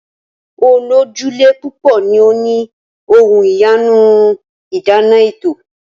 Olójúlé púpò ni o ni ohun iyanu ìdáná eto.